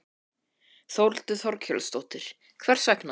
Þórhildur Þorkelsdóttir: Hvers vegna?